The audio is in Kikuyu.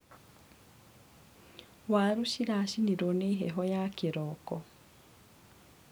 Waru ciracinirwo nĩ heho ya kĩroko.